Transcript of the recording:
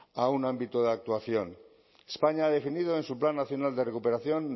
a un ámbito de actuación españa ha definido en su plan nacional de recuperación